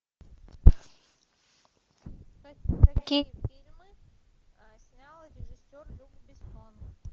какие фильмы снял режиссер люк бессон